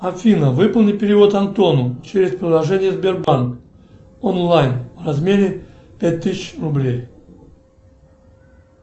афина выполни перевод антону через приложение сбербанк онлайн в размере пять тысяч рублей